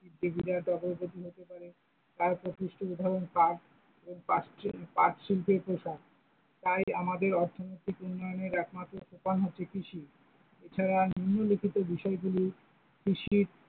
আয়তপৃষ্টের উদাহরন পাট এবং পাট শিল্পের প্রসার, তাই আমাদের অর্থনীতি উন্নয়নে একমাত্র সোপান হচ্ছে কৃষি, এছার নিম্নলিখিত বিষয়গুলি কৃষির।